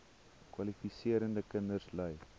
kwalifiserende kinders ly